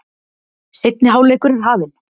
Seinni hálfleikur er hafinn